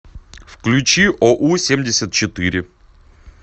включи оу семьдесят четыре